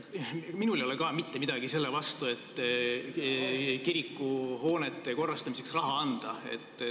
Minul ei ole ka mitte midagi selle vastu, et kirikuhoonete korrastamiseks raha anda.